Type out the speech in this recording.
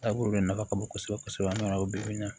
Taabolo de nafa ka bon kosɛbɛ kosɛbɛ